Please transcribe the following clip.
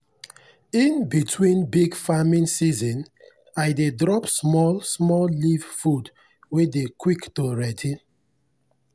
in between big farming season i dey drop small-small leaf food wey dey quick to ready.